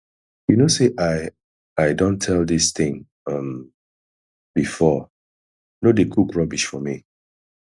you know say i i don tell dis thing um before no dey cook rubbish for me